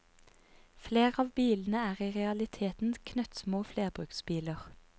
Flere av bilene er i realiteten knøttsmå flerbruksbiler.